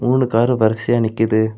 மூணு காரு வரிசையா நிக்குது.